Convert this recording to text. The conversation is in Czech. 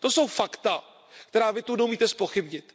To jsou fakta, která Vy zde neumíte zpochybnit.